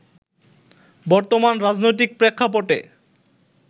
বর্তমান রাজনৈতিক প্রেক্ষাপটে